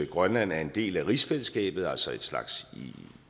grønland er en del af rigsfællesskabet altså en slags